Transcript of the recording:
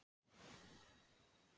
Þeir eru enn að.